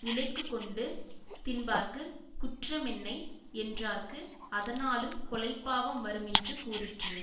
விலைக்குக்கொண்டு தின்பார்க்குக் குற்றமென்னை யென்றார்க்கு அதனாலுங் கொலைப்பாவம் வருமென்று கூறிற்று